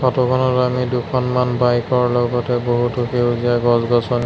photo খনত আমি দুখনমান বাইক ৰ লগতে বহুতো সেউজীয়া গছ-গছনি--